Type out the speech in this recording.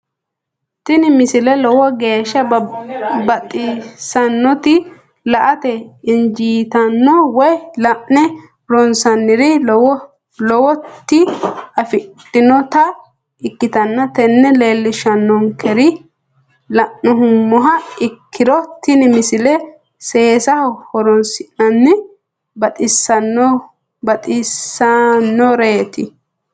tini misile lowo geeshsha baxissannote la"ate injiitanno woy la'ne ronsannire lowote afidhinota ikkitanna tini leellishshannonkeri la'nummoha ikkiro tini misile seesaho horoonsi'nanni baxisannoreeti.